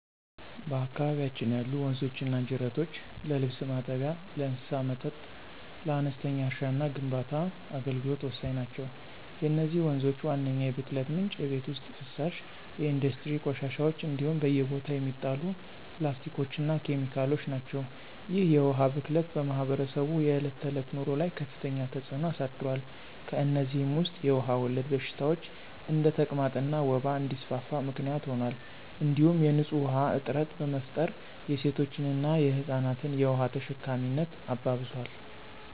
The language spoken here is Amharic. በአካባቢያችን ያሉ ወንዞችና ጅረቶች ለልብስ ማጠቢያ፣ ለእንስሳት መጠጥ፣ ለአነስተኛ እርሻና ለግንባታ አገልግሎት ወሳኝ ናቸው። የነዚህ ወንዞች ዋነኛው የብክለት ምንጭ የቤት ውስጥ ፍሳሽ፣ የኢንዱስትሪ ቆሻሻዎች እንዲሁም በየቦታው የሚጣሉ ፕላስቲኮችና ኬሚካሎች ናቸው። ይህ የውሃ ብክለት በማኅበረሰቡ የዕለት ተዕለት ኑሮ ላይ ከፍተኛ ተጽዕኖ አሳድሯል። ከእነዚህም ውስጥ የውሃ ወለድ በሽታዎች እንደ ተቅማጥና ወባ እንዲስፋፋ ምክንያት ሆኗል እንዲሁም የንፁህ ውሃ እጥረት በመፍጠር የሴቶችንና የህፃናትን የውሃ ተሸካሚነት አባብሷል።